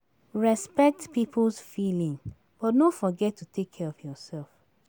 Respect people's feeling but no forget to take care of yourself.